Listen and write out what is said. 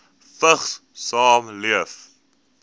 vigs saamleef